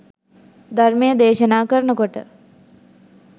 ධර්මය දේශනා කරන කොට